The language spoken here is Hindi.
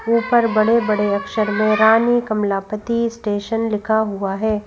ऊपर बड़े-बड़े अक्षर में रानी कमलापति स्टेशन लिखा हुआ है।